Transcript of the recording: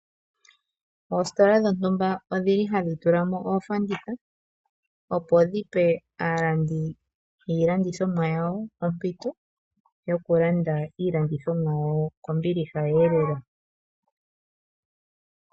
Oositola dhontumba odhili hadhi tulamo oofanditha opo dhipe aalandi yiilandithomwa yawo ompito yokulanda iilandithomwa yawo kombiliha lela.